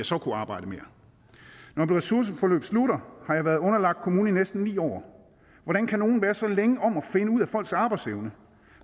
så kunne arbejde mere når ressourceforløbet slutter har jeg været underlagt kommunen i næsten ni år hvordan kan nogen være så længe om at finde ud af folks arbejdsevne